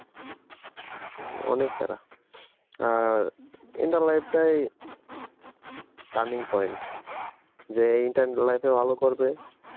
হুম্অনেক প্যারা আর inter life টাই turning point যে inter life এ ভালো করবে